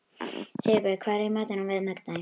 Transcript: Sigurbjörn, hvað er í matinn á miðvikudaginn?